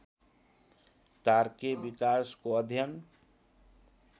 तारकीय विकासको अध्ययन